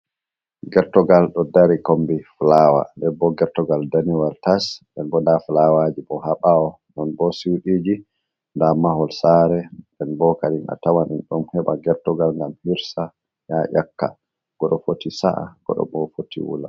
Gertogal ɗo dari kombi fulawa debbo Gertogal danewal tas nden bo nda fulawaji bo ha ɓawo non bo sidiji nda mahol sare nden bokadi a tawan en ɗon heɓa gertogal ngam hirsa ya yaka goɗɗo foti sa’a goɗɗo bo foti wula.